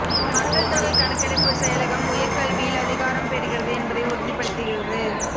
மக்கள்தொகை கணக்கெடுப்பு செயலகம் உயர் கல்வியில் அதிகாரம் பெறுகிறது என்பதை உறுதிப்படுத்துகிறது